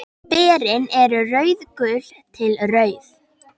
Berin eru rauðgul til rauð.